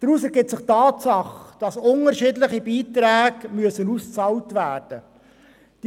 Daraus ergibt sich die Tatsache, dass unterschiedliche Beiträge ausbezahlt werden müssen.